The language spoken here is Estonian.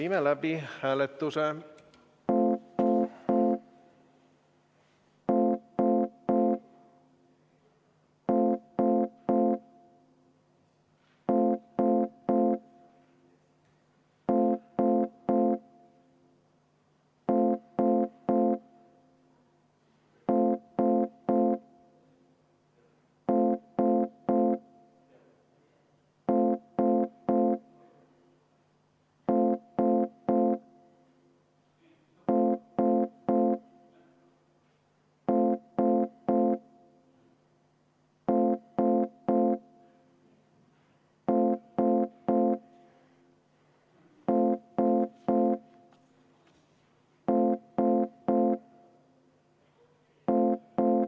Ma palun seda ettepanekut hääletada.